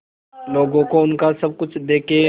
लोगों को उनका सब कुछ देके